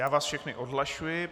Já vás všechny odhlašuji.